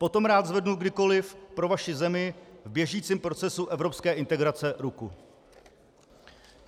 Potom rád zvednu kdykoliv pro vaši zemi v běžícím procesu evropské integrace ruku.